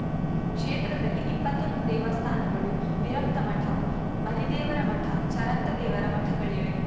ಕ್ಷೇತ್ರದಲ್ಲಿಇಪ್ಪತ್ತೊಂದು ದೇವಸ್ಥಾನಗಳು ವಿರಕ್ತಮಠ ಮರಿದೇವರ ಮಠ ಚರಂತ ದೇವರ ಮಠಗಳಿವೆ